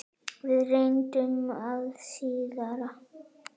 Við reyndum það síðara!